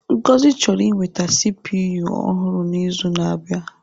Ngozi chọrọ inweta CPU ọhụrụ n'izu na-abịa.